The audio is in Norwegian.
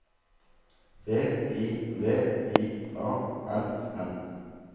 V I V I A N N